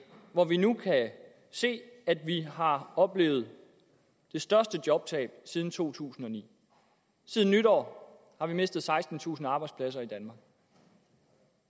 hvor vi nu kan se at vi har oplevet det største jobtab siden to tusind og ni siden nytår har vi mistet sekstentusind arbejdspladser i danmark